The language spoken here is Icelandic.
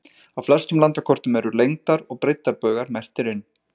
Á flestum landakortum eru lengdar- og breiddarbaugar merktir inn.